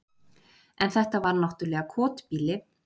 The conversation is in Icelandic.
En þetta var náttúrlega kotbýli.